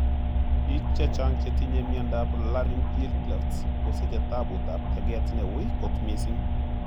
Pik chechang che tinye miondap laryngeal clefts kosichetaputap teget neui kot missing.